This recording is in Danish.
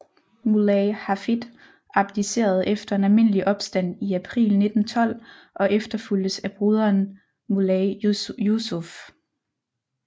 Muley Hafid abdicerede efter en almindelig opstand i april 1912 og efterfulgtes af broderen Muley Jusuf